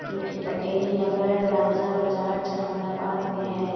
जो कि पटेल नगर राजा बाजार जहानाबाद में है। .